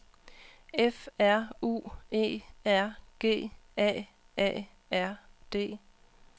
F R U E R G A A R D